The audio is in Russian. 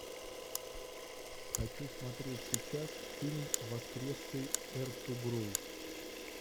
хочу смотреть сейчас фильм воскресший эртугрул